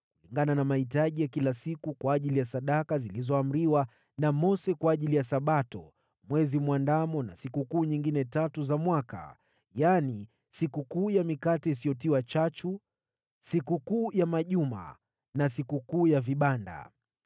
kulingana na mahitaji ya kila siku kwa ajili ya sadaka zilizoamriwa na Mose kwa ajili ya Sabato, Mwezi Mwandamo na sikukuu nyingine tatu za mwaka, yaani, Sikukuu ya Mikate Isiyotiwa Chachu, Sikukuu ya Majuma na Sikukuu ya Vibanda.